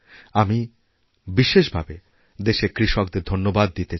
আমিবিশেষভাবে দেশের কৃষকদের ধন্যবাদ দিতে চাই